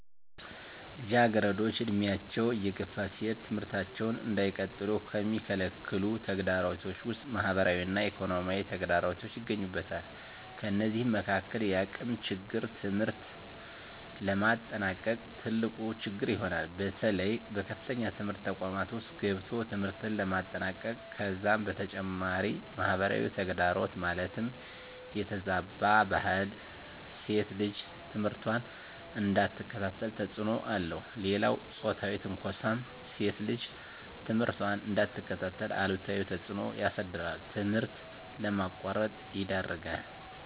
ልጃገረዶች ዕድሜያቸው እየገፋ ሲሄድ ትምህርታቸውን እንዳይቀጥሉ ከሚከለክሉ ተግዳሮቶች ውስጥ ማህበራዊ እና ኢኮኖሚያዊ ተግዳሮቶች ይገኙበታል። ከነዚህም መካካል የአቅም ችግር ትምህርት ለማጠናቀቅ ትልቁ ችግር ይሆናል። በተለይ በከፍተኛ ትምህርት ተቋማት ውስጥ ገብቶ ትምህርትን ለማጠናቀቅ ከዛም በተጨማሪ ማህበራዊ ተግዳሮት ማለትም የተዛባ ባህል ሴት ልጅ ትምህርቷን እንዳትከታተል ተፅዕኖ አለው። ሌላው ፆታዊ ትንኳሳም ሴት ልጅ ትምህርቷን እንዳትከታተል አሉታዊ ተፅዕኖ ያሳድራል ትምህርት ለማቋረጥ ይዳርጋል።